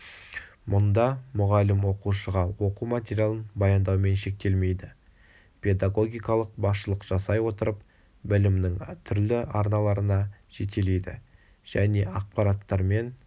мұнда мұғалім оқушыға оқу материалын баяндаумен шектелмейді педагогикалық басшылық жасай отырып білімнің түрлі арналарына жетелейді және ақпараттармен